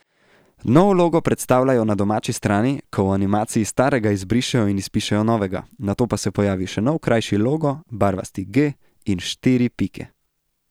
Nov logo predstavljajo na domači strani, ko v animaciji starega izbrišejo in izpišejo novega, nato pa se pojavi še nov krajši logo barvasti G in štiri pike.